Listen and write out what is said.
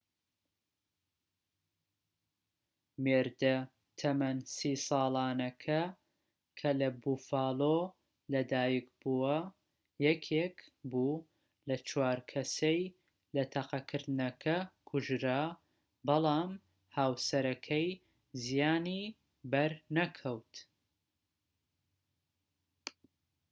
مێردە تەمەن 30 ساڵانەکە کە لە بوفالۆ لە دایک بووە یەکێک بوو لەو چوار کەسەی لە تەقەکردنەکە کوژرا بەڵام هاوسەرەکەی زیانی بەر نەکەوت